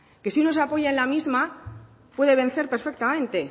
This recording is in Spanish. que si uno se apoya en la misma puede vencer perfectamente